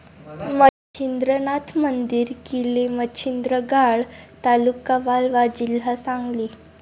मच्छिंद्रनाथ मंदिर, किलेमच्छिंद्र गाड, ता.वालवा, जी.सांगली